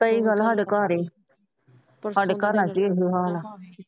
ਉਹ ਗੱਲ ਸਾਡੇ ਘਰ ਸਾਡੇ ਘਰਾਂ ਚ ਹੀ ਹਾਲ ਏ।